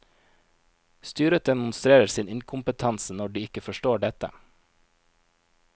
Styret demonstrerer sin inkompetanse når de ikke forstår dette.